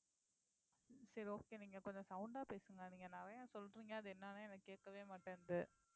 சரி okay நீங்க கொஞ்சம் sound ஆ பேசுங்க நீங்க நிறைய சொல்றீங்க அது என்னன்னு எனக்கு கேக்கவே மாட்டேங்குது